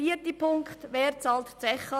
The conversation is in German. Vierter Punkt: Wer bezahlt die Zeche?